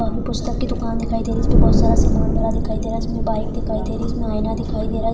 यहा पे पुस्तक की दुकान दिखाई दे रही है जिसपे बोहत सारा सामान भरा दिखाई दे रहा इसमें बाइक दिखाई दे रही इसमें आइना दिखाई दे रहा है।